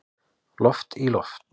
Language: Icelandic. Loft í loft